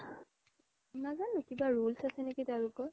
নাজানো কিবা rules আছে নেকি তেওলোকৰ